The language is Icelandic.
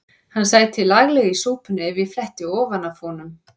Hann sæti laglega í súpunni ef ég fletti ofan af honum.